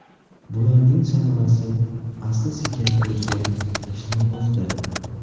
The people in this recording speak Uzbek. Bularning samarasi asta-sekin ko‘zga tashlanmoqda.